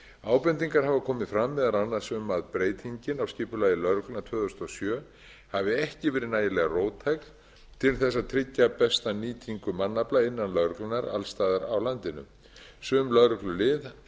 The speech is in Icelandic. ábendingar hafa komið fram meðal annars um að breytingin á skipulagi lögreglunnar tvö þúsund og sjö hafi ekki verið nægilega róttækt til að tryggja besta nýtingu mannafla innan lögreglunnar alls staðar á landinu sum lögreglulið